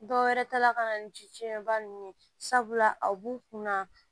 Dɔwɛrɛ tala ka na ni ji fiɲɛba ninnu ye sabula a b'u kunna